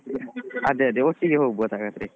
ಅದೆ ಅದೆ ಒಟ್ಟಿಗೆ ಹೋಗ್ಬೋದು ಹಾಗಾದ್ರೆ.